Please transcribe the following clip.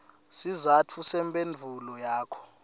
sizatfu semphendvulo yakho